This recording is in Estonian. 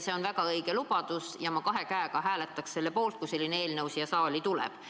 See on väga õige lubadus ja ma kahe käega hääletaks selle poolt, kui selline eelnõu siia saali tuleks.